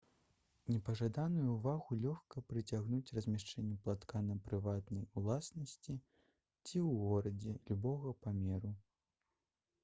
непажаданую ўвагу лёгка прыцягнуць размяшчэннем палаткі на прыватнай уласнасці ці ў горадзе любога памеру